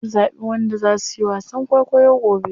An zaɓi wanda za suyi wasan kwaikwayo gobe.